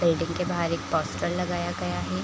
Building के बाहर एक पोस्टर लगाया गया है ।